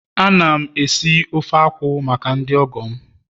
Ana m esi ofe banga maka ndị ọgọ m